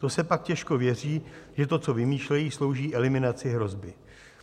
To se pak těžko věří, že to, co vymýšlejí, slouží eliminaci hrozby.